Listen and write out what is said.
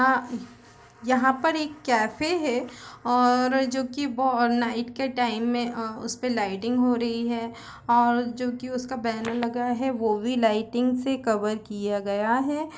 अ यहाँ पर एक कैफ़े है और जो की बोहत नाईट के टाइम मे उसपर लाइटिंग हो रखी है और जो की उसका बैनर लगा है वो लाइटिंग से कवर किया गया है।